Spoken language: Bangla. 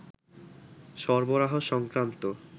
সরবরাহ সংক্রান্ত